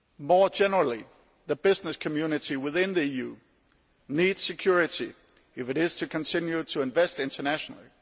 More generally, the business community within the EU needs security if it is to continue to invest internationally.